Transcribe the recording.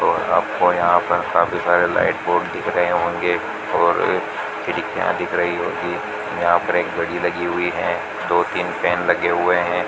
और आपको यहां पर काफी सारे लाइट बोर्ड दिख रहे होंगे और खिड़कियां दिख रही होंगी यहां पर एक घड़ी लगी हुई है दो तीन फैन लगे हुएं हैं।